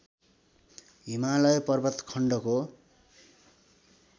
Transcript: हिमालय पर्वत खण्डको